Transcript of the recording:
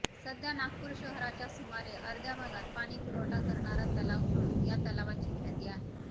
सध्या नागपूर शहराच्या सुमारे अर्ध्या भागात पाणीपुरवठा करणारा तलाव म्हणुन या तलावाची ख्याती आहे